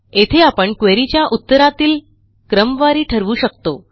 येथे आपण क्वेरी च्या उत्तरातील क्रमवारी ठरवू शकतो